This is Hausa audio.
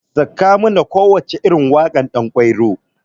Sakamana kowacce irin waƙar ɗankwairo.